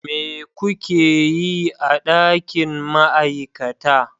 Me kuke yi a dakin ma'aikata?